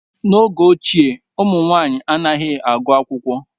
N'oge ochie, ụmụ nwaanyị anaghị agụ akwụkwọ.